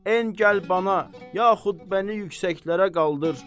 En gəl bana, yaxud məni yüksəklərə qaldır,